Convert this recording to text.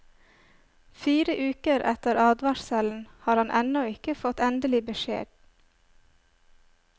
Fire uker etter advarselen har han ennå ikke fått endelig beskjed.